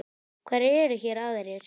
Hverjir eru hér aðrir?